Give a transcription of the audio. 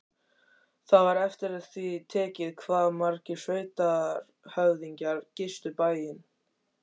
Það var eftir því tekið hvað margir sveitarhöfðingjar gistu bæinn.